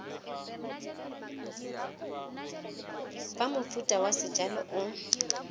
fa mofuta wa sejalo o